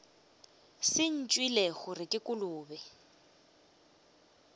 se ntšwele gore ke kolobe